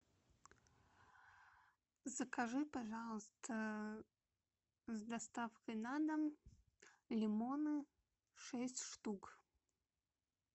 закажи пожалуйста с доставкой на дом лимоны шесть штук